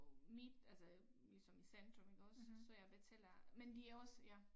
Midt altså ligesom i centrum iggås så jeg betaler men det er også ja